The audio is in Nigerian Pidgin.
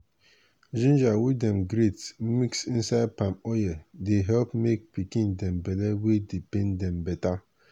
ginger wey dem grate mix inside palm oye dey help make pikin dem belle wey dey pain dem beta.